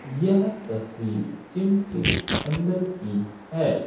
यह तस्वीर जिम के अंदर की है।